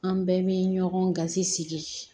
An bɛɛ bɛ ɲɔgɔn gasi sigi